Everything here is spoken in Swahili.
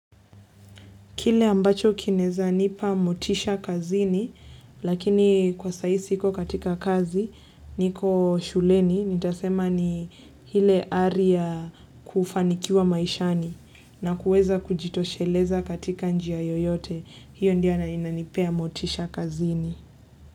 Kile ambacho kinaeza nipa motisha kazini, lakini kwa saa ii siko katika kazi, niko shuleni, nita sema ni hile ari ya kufanikiwa maishani na kuweza kujitosheleza katika njia yoyote. Hiyo ndio na inanipea motisha kazini.